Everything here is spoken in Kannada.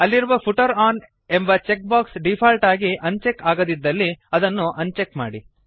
ಅಲ್ಲಿರುವ ಫೂಟರ್ ಒನ್ ಎಂಬ ಚೆಕ್ಬಾಕ್ಸ್ ಡೀಫಾಲ್ಟ್ ಆಗಿ ಅನ್ ಚೆಕ್ ಆಗದಿದ್ದಲ್ಲಿ ಅದನ್ನು ಅನ್ ಚೆಕ್ ಮಾಡಿ